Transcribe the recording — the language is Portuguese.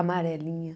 Amarelinha.